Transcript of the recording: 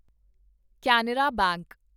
Canara bank